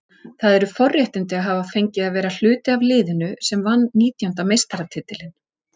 Það eru forréttindi að hafa fengið að vera hluti af liðinu sem vann nítjánda meistaratitilinn.